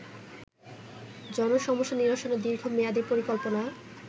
জনসমস্যা নিরসনে দীর্ঘমেয়াদি পরিকল্পনা